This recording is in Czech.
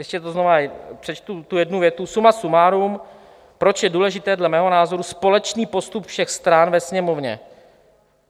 Ještě to znova přečtu, tu jednu větu: Suma sumárum, proč je důležitý dle mého názoru společný postup všech stran ve Sněmovně?